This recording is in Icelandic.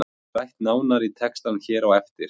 Þetta er rætt nánar í textanum hér á eftir.